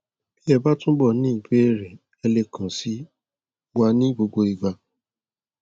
bí ẹ bá túbọ ní ìbéèrè ẹ lè kàn sí wa ní gbogbo ìgbà